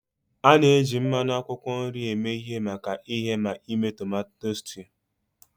A na-eji mmanụ akwụkwọ nri eme ihe maka ighe na ime tomato stew.